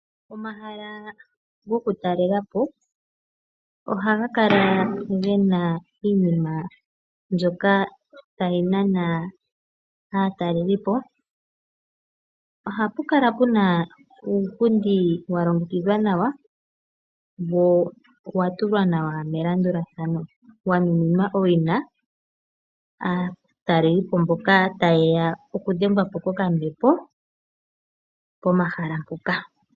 Omahala gokutalela po ohaga kala ge na iinima mbyoka tayi nana aatalelipo. Ohapu kala puna uupundi wa longekidhwa nawa wo owa tulwa nawa melandulathano wa nuninwa owina aatalelipo mboka taye ya okudhengwa po kokambepo pomahala mpoka.